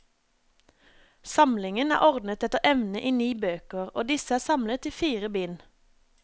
Samlingen er ordnet etter emne i ni bøker, og disse er samlet i fire bind.